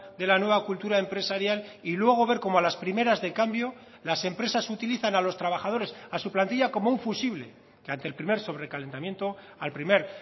de la nueva cultura empresarial y luego ver cómo a las primeras de cambio las empresas utilizan a los trabajadores a su plantilla como un fusible que ante el primer sobrecalentamiento al primer